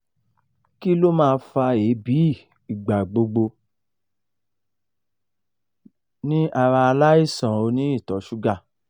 kí ló máa fa ebi igbagbo ni ara alaisan oni ito sugar?